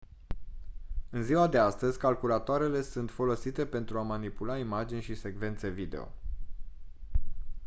în ziua de astăzi calculatoarele sunt folosite pentru a manipula imagini și secvențe video